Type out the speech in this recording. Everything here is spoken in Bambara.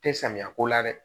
Tɛ samiya ko la dɛ